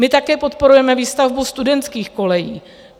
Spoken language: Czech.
My také podporujeme výstavbu studentských kolejí.